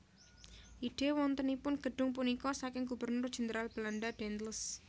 Ide wontenipun gedhung punika saking Gubernur Jenderal Belanda Daendels